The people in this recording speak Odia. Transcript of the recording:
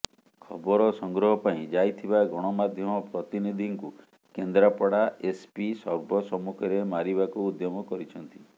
ଖବର ସଂଗ୍ରହ ପାଇଁ ଯାଇଥିବା ଗଣମାଧ୍ୟମ ପ୍ରତିନିଧିଙ୍କୁ କେନ୍ଦ୍ରାପଡ଼ା ଏସ୍ପି ସର୍ବସମ୍ମୁଖରେ ମାରିବାକୁ ଉଦ୍ୟମ କରିଛନ୍ତି